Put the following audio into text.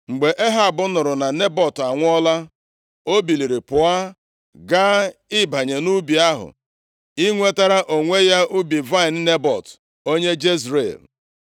Mgbe Ehab nụrụ na Nebọt anwụọla, o biliri pụọ, gaa ịbanye nʼubi ahụ, inwetara onwe ya ubi vaịnị Nebọt, onye Jezril.